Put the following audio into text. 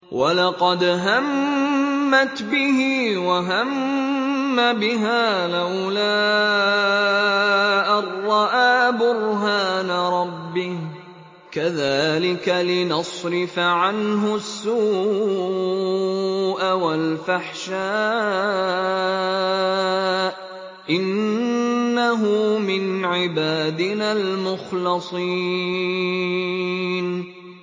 وَلَقَدْ هَمَّتْ بِهِ ۖ وَهَمَّ بِهَا لَوْلَا أَن رَّأَىٰ بُرْهَانَ رَبِّهِ ۚ كَذَٰلِكَ لِنَصْرِفَ عَنْهُ السُّوءَ وَالْفَحْشَاءَ ۚ إِنَّهُ مِنْ عِبَادِنَا الْمُخْلَصِينَ